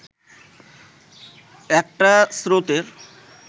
একটা স্রোতের